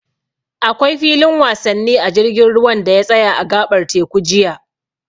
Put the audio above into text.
Akwai filin wasanni a jirgin ruwan da ya tsaya a a gaɓar teku jiya.